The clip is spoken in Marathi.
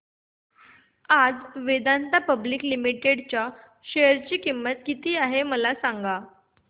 आज वेदांता पब्लिक लिमिटेड च्या शेअर ची किंमत किती आहे मला सांगा